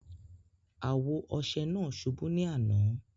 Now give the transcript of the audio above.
Awo ọṣẹ naa ṣúbú ni àná.